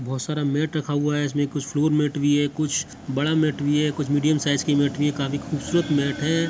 बोहोत सारा मेट रखा हुआ है इसमें कुछ फ्लोर मेट भी है कुछ बड़ा मेट भी है कुछ मीडियम साइज का मेट भी है काफी खूबसूरत मेट है।